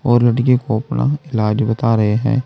और लड़की को अपना इलाज बता रहे हैं।